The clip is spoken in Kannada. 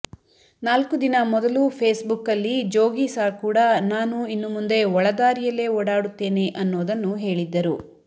ನಾಲ್ಕು ದಿನ ಮೊದಲು ಫೇಸ್ಬುಕ್ಕಲ್ಲಿ ಜೋಗಿಸಾರ್ ಕೂಡ ನಾನು ಇನ್ನು ಮುಂದೆ ಒಳದಾರಿಯಲ್ಲೇ ಓಡಾಡುತ್ತೇನೆ ಅನ್ನೋದನ್ನು ಹೇಳಿದ್ದರು